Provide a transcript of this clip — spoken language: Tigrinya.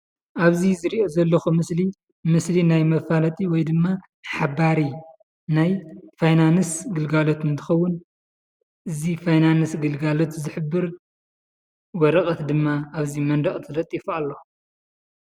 ኣብዚ ዝሪኦ ዘለኹ ምስሊ፣ ምስሊ ናይ መፋለጢ ወይ ድማ ሓባሪ ናይ ፋይናንስ ግልጋሎት እንትኸውን እዚ ፋይናንስ ግልጋሎት ዝሕብር ወረቐት ድማ ኣብዚ መንደቕ ተለጢፉ ኣሎ።